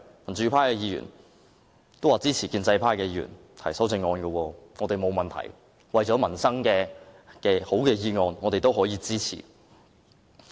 民主派議員也支持建制派議員提出修正案，我們沒有問題，為了民生，只要是好的建議，我們都可支持。